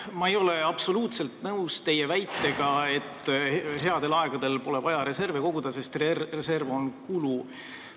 Ma ei ole absoluutselt nõus teie väitega, et headel aegadel pole vaja reserve koguda, sest reserv on kulu.